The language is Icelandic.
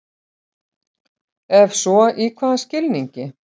Ef svo í hvaða skilningi?